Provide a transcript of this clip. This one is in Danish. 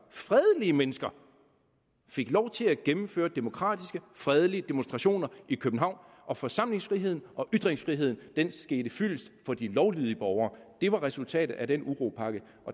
fredelige mennesker fik lov til at gennemføre demokratiske fredelige demonstrationer i københavn og forsamlingsfriheden og ytringsfriheden skete fyldest for de lovlydige borgere det var resultatet af den uropakke